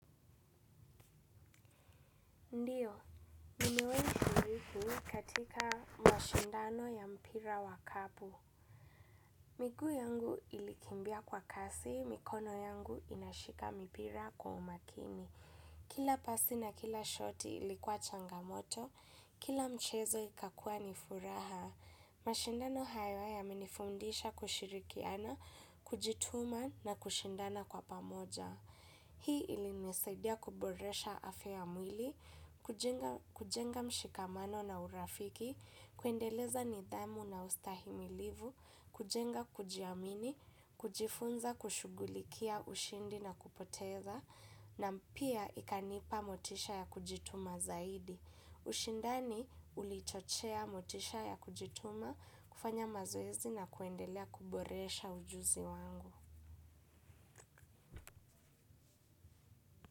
Ndiyo, nimewaishiriki katika mashindano ya mpira wa kapu. Miguu yangu ilikimbia kwa kasi, mikono yangu inashika mpira kwa umakini. Kila pasi na kila shoti ilikuwa changamoto, kila mchezo ikakua ni furaha. Mashindano hayo yamenifundisha kushirikiana, kujituma na kushindana kwa pamoja. Hii imenisaidia kuboresha afya mwili, kujenga mshikamano na urafiki, kuendeleza nidhamu na ustahimilivu, kujenga kujiamini, kujifunza kushughulikia ushindi na kupoteza, na pia ikanipa motisha ya kujituma zaidi. Ushindani ulichochea motisha ya kujituma, kufanya mazoezi na kuendelea kuboresha ujuzi wangu.